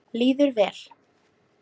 Líður vel.